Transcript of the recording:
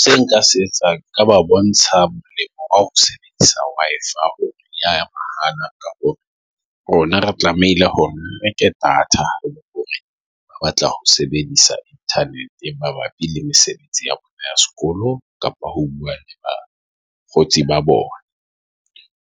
Se nka se etsang nka ba bontsha sebedisa wife ya rona. Re tlamehile hore neke data ba batla ho sebedisa Internet mabapi le sebetsi ya sekolo kapa ho ba kgotsi ba bona